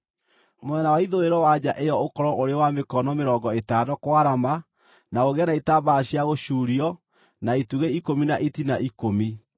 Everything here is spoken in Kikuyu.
“Mwena wa ithũĩro wa nja ĩyo ũkorwo ũrĩ wa mĩkono mĩrongo ĩtano kwarama na ũgĩe na itambaya cia gũcuurio na itugĩ ikũmi na itina ikũmi.